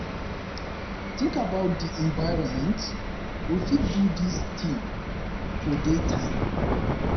tink about di environment - we fit do dis tin for day time